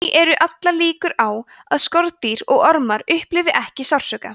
því eru allar líkur á að skordýr og ormar upplifi ekki sársauka